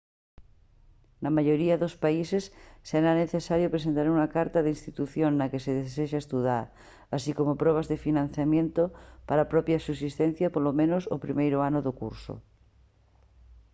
na maioría dos países será necesario presentar unha carta da institución na que se desexa estudar así como probas de financiamento para a propia subsistencia polo menos o primeiro ano do curso